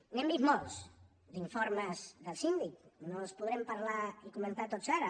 n’hem vist molts d’informes del síndic no els podrem parlar i comentar tots ara